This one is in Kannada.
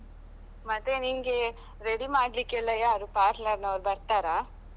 ಮತ್ತೆ ನಿಂಗೆ ready ಮಾಡ್ಲಿಕೆಲ್ಲಾ ಯಾರು parlour ನವರು ಬರ್ತಾರಾ?